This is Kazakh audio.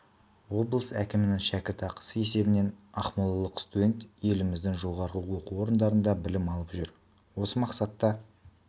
облыс әкімінің шәкіртақысы есебінен ақмолалық студент еліміздің жоғары оқу орындарында білім алып жүр осы мақсатта